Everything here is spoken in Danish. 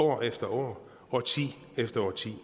år efter år og årti efter årti